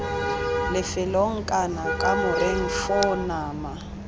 lefelong kana kamoreng foo nama